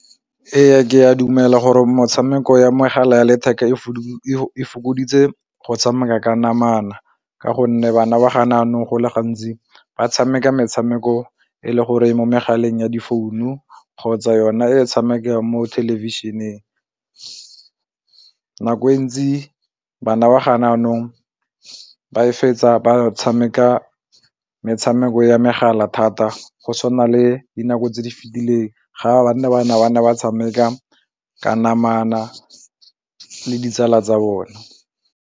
Ee, ke a dumela gore metshameko ya megala ya letheka e fokoditse go tshameka ka namana ka gonne bana ba gane jaanong go le gantsi ba tshameka metshameko e le gore mo megaleng ya difounu kgotsa yona e tshamekang mo thelebišeneng nako e ntsi bana ba ga jaanong ba e fetsa ba tshameka metshameko ya megala thata go tshwana le dinako tse di fetileng bana ba ne ba tshameka ka namana le ditsala tsa bone.